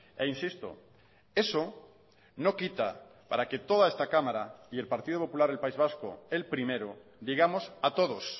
e insisto eso no quita para que toda esta cámara y el partido popular del país vasco el primero digamos a todos